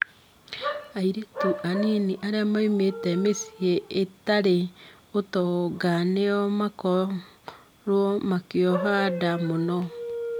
Airĩtu anini arĩa maumĩte mĩciĩ ĩtarĩ ũtonga nĩo manakorũo makĩoha nda mũno